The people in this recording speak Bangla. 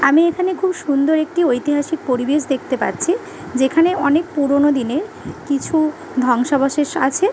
আমি এখানে খুব সুন্দর একটি ঐতিহাসিক পরিবেশ দেখতে পাচ্ছি। যেখানে অনেক পুরানো দিনে কিছু ধ্বংসাবশেষ আছে।